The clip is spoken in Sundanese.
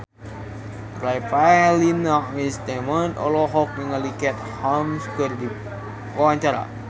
Revalina S. Temat olohok ningali Katie Holmes keur diwawancara